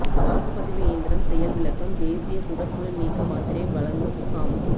வாக்குப்பதிவு இயந்திரம் செயல் விளக்கம் தேசிய குடற்புழு நீக்க மாத்திரை வழங்கும் முகாம்